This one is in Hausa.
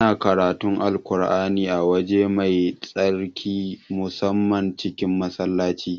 Ana karatun Alƙur'ani a waje mai tsarki musamman cikin Masallaci